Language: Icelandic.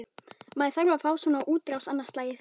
Maður þarf að fá svona útrás annað slagið.